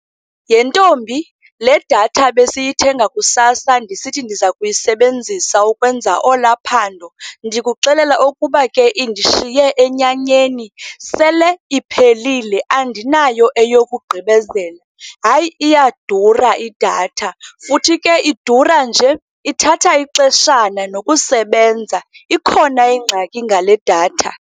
Yhe ntombi, le datha besiyithenga kusasa ndisithi ndiza kuyisebenzisa ukwenza olwaa phando, ndikuxelela ke ukuba indishiye enyanyeni, sele iphelile, andinayo eyokugqibezela. Hayi, iyadura idatha, futhi ke idura nje ithatha ixeshana nokusebenza. Ikhona ingxaki ngale datha.